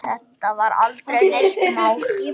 Þetta var aldrei neitt mál.